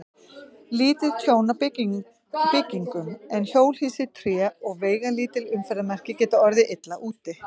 Lítið tjón á byggingum, en hjólhýsi, tré og veigalítil umferðarmerki geta orðið illa úti.